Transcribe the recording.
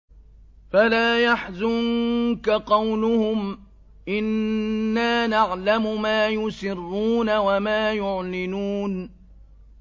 فَلَا يَحْزُنكَ قَوْلُهُمْ ۘ إِنَّا نَعْلَمُ مَا يُسِرُّونَ وَمَا يُعْلِنُونَ